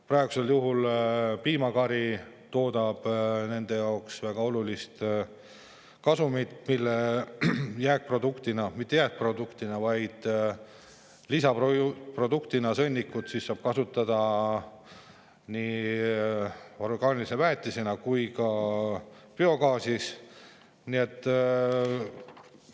Praegusel juhul toodab piimakari nende jaoks väga olulist kasumit, mille produktina saadud sõnnikut saab kasutada nii orgaanilise väetisena kui ka biogaasi.